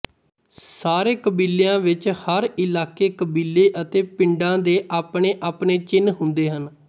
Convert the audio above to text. ਸਾਰੇ ਕਬੀਲਿਆਂ ਵਿੱਚ ਹਰ ਇਲਾਕੇ ਕਬੀਲੇ ਅਤੇ ਪਿਡਾਂ ਦੇ ਆਪਣੇ ਆਪਣੇ ਚਿੰਨ੍ਹ ਹੁੰਦੇ ਹਨ